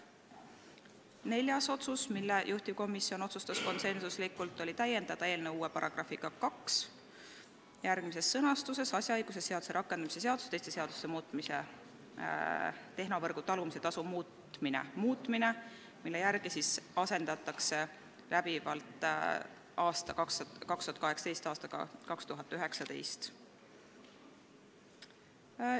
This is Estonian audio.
Neljas otsus, mille juhtivkomisjon konsensuslikult tegi, oli täiendada eelnõu uue §-ga 2 "Asjaõigusseaduse rakendamise seaduse ja teiste seaduste muutmise seaduse muutmine", mille järgi asendatakse seaduses aastaarv "2018" läbivalt aastaarvuga "2019".